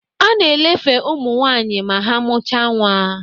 A na elefe ụmụ nwaanyị ma ha mụcha nwa